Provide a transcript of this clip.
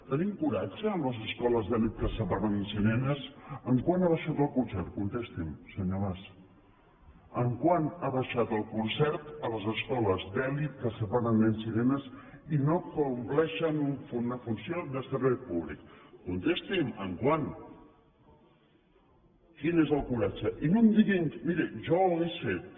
tenim coratge amb les escoles d’elit que separen nens i nenes quant ha abaixat el concert contesti’m senyor mas quant ha abaixat el concert a les escoles d’elit que separen nens i nenes i que no compleixen una funció de servei públic contesti’m quant coratge i no em diguin miri jo ho hauria fet